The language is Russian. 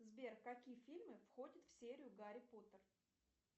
сбер какие фильмы входят в серию гарри поттер